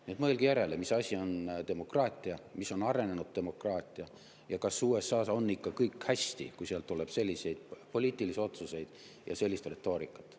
Nii et mõelge järele, mis asi on demokraatia, mis on arenenud demokraatia, ja kas USA-s on ikka kõik hästi, kui sealt tuleb selliseid poliitilisi otsuseid ja sellist retoorikat.